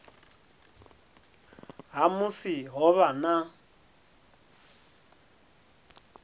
ha musi ho vha na